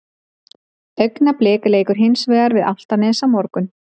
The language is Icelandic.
Augnablik leikur hins vegar við Álftanes á morgun.